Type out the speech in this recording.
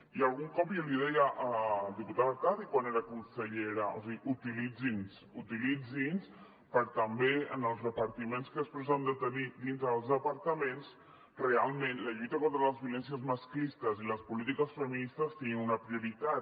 i algun cop jo li deia a la diputada artadi quan era consellera o sigui utilitzin nos utilitzin nos per també en els repartiments que després han de tenir dintre dels departaments realment la lluita contra les violències masclistes i les polítiques feministes siguin una prioritat